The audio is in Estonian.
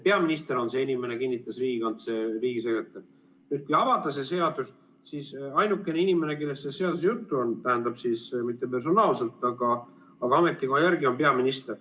Peaminister on see inimene, kinnitas riigisekretär, et kui avada see seadus, siis ainukene inimene, kellest selles seaduses juttu on – tähendab, mitte personaalselt, aga ametikoha järgi –, on peaminister.